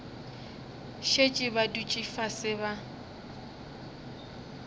šetše ba dutše fase ba